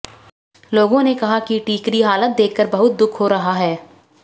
लोगों ने कहा कि टिकिरी हालत देखकर बहुत दुख हो रहा है